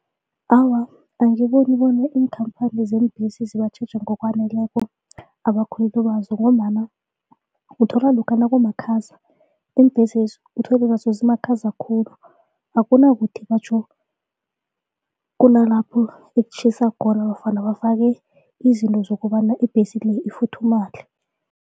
Awa, angiboni bona iinkhamphani zeembhesi zibatjheja ngokwaneleko abakhweli bazo ngombana uthola lokha nakumakhaza iimbhesezi uthole nazo zimakhaza khulu akunakuthi batjho kunalapho etjhisa khona nofana bafake izinto zokobana ibhesi le ifuthumale.